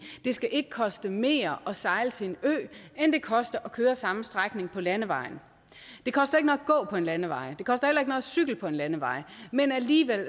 skal ikke koste mere at sejle til en ø end det koster at køre samme strækning på landevejen det koster at gå på en landevej det koster at cykle på en landevej men alligevel